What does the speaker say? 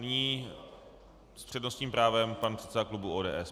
Nyní s přednostním právem pan předseda klubu ODS.